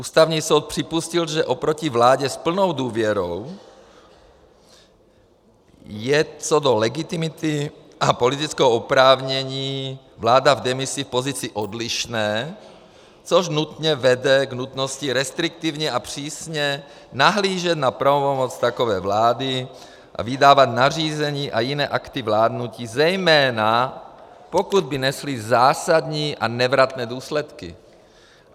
Ústavní soud připustil, že oproti vládě s plnou důvěrou je co do legitimity a politického oprávnění vláda v demisi v pozici odlišné, což nutně vede k nutnosti restriktivně a přísně nahlížet na pravomoc takové vlády a vydávat nařízení a jiné akty vládnutí, zejména pokud by nesly zásadní a nevratné důsledky.